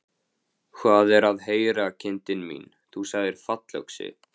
Hvað er að heyra, kindin mín, þú sagðir fallöxi.